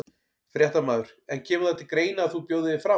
Fréttamaður: En kemur það til greina að þú bjóðir þig fram?